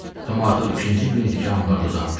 Tom artıq ikinci gün idi ki, ambarda uzanmışdı.